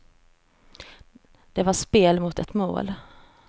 Det var spel mot ett mål.